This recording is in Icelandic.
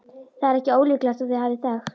Það er ekki ólíklegt að þau hafi þekkst.